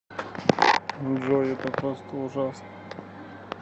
джой это просто ужасно